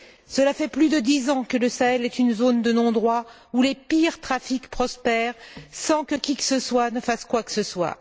Cela fait plus de dix ans que le Sahel est une zone de non droit où les pires trafics prospèrent sans que qui que ce soit ne fasse quoi que ce soit.